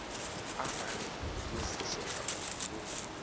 arali yo fushea uri vho